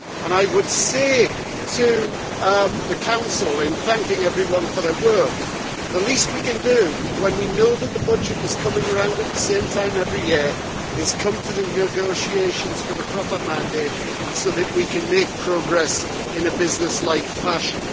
I would say to the Council, in thanking everyone for their work, that the least we can do, when we know that the budget is coming around at the same time every year, is to come to the negotiations with a proper mandate so that we can make progress in a businesslike fashion.